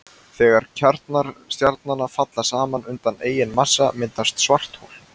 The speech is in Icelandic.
Þegar kjarnar stjarnanna falla saman undan eigin massa myndast svarthol.